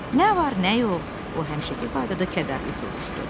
Nə var, nə yox, o həmişəki qaydada kədərli soruşdu.